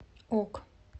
ок